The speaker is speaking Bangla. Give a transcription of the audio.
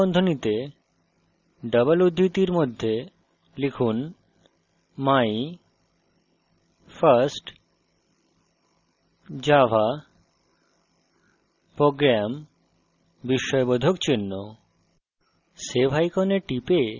my প্রথম বন্ধনীতে double উদ্ধৃতির মধ্যে লিখুন my first java program বিস্ময়বোধক চিহ্ন